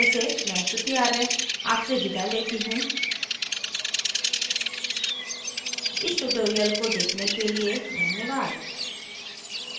t t t Bombay से मैं श्रुति आर्य आपसे विदा लेती हूँ इस ट्यूटोरियल को देखने के लिए धन्यवाद